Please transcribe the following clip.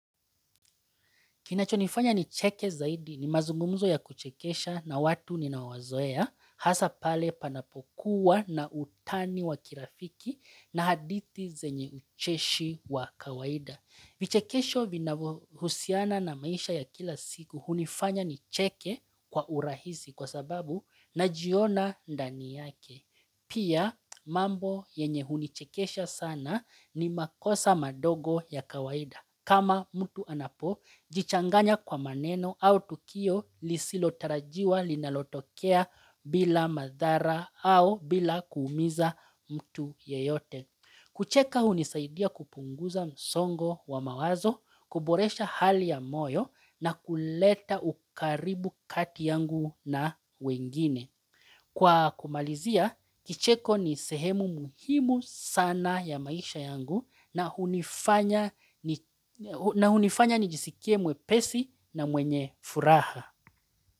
Kinachonifanya nicheke zaidi ni mazungumzo ya kuchekesha na watu ninaowazoea hasa pale panapokuwa na utani wa kirafiki na hadithi zenye ucheshi wa kawaida. Vichekesho vina husiana na maisha ya kila siku hunifanya nicheke kwa urahisi kwa sababu najiona ndani yake. Pia mambo yenye hunichekesha sana ni makosa madogo ya kawaida. Kama mtu anapo, jichanganya kwa maneno au tukio lisilotarajiwa linalotokea bila madhara au bila kuumiza mtu yeyote. Kucheka hunisaidia kupunguza msongo wa mawazo, kuboresha hali ya moyo na kuleta ukaribu kati yangu na wengine. Kwa kumalizia, kicheko ni sehemu muhimu sana ya maisha yangu na hunifanya nijisikie mwepesi na mwenye furaha.